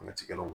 kɛlaw